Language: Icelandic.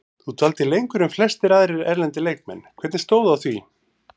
Þú dvaldir lengur en flestir aðrir erlendir leikmenn, hvernig stóð að því?